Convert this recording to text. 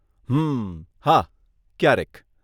હમમ.. હા, ક્યારેક.